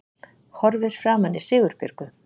Horfir framan í Sigurbjörgu